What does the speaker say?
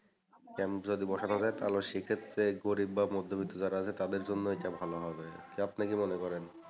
camp যদি বসানো যায় তাহলেও সেইক্ষেত্রে গরীব বা মধ্যবিত্ত যারা আছে তাদের জন্য এটা ভালো হবে। আপনি কি মনে করেন?